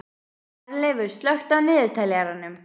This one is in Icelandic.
Herleifur, slökktu á niðurteljaranum.